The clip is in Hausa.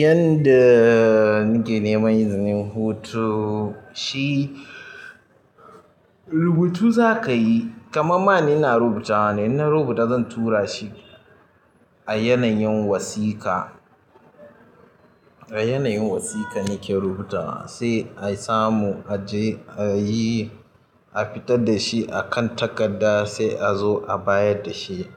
Yanda nake nema izinin hutu, shi rubutu za ka yi. Kamam ma ni ina rubutawa ne, inna rubuta zan tura shi a yanayin wasiƙa, a yanayin wasiƙa nake rubutawa. Sai a samu a je a yi, a fita da shi a kan takarda sai a zo a bayar da shi